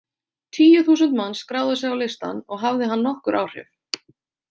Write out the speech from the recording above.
Tíu þúsund manns skráðu sig á listann og hafði hann nokkur áhrif.